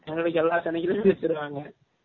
எங்கலுக்கு எல்லா சனிகிலமையும் வசுருவாங்க